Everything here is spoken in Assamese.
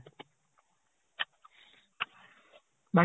বা